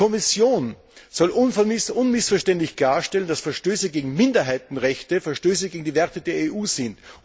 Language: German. Die Kommission soll unmissverständlich klarstellen, dass Verstöße gegen Minderheitenrechte Verstöße gegen die Werte der EU sind.